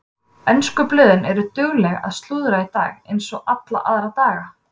Ensku blöðin eru dugleg að slúðra í dag eins og alla aðra daga.